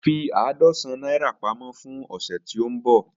Fi àádọ́sán naira pamọ fun ọsẹ ti nbọ.